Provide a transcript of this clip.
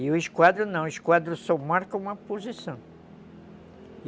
E o esquadro não, o esquadro só marca uma posição.